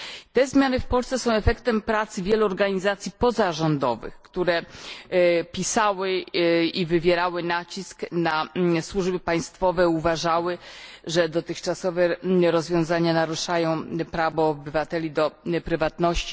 Te zmiany w Polsce są efektem pracy wielu organizacji pozarządowych, które pisały w tej sprawie i wywierały nacisk na służby państwowe, gdyż uważały, że dotychczasowe rozwiązania naruszają prawo obywateli do prywatności.